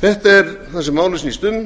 þetta er það sem málið snýst um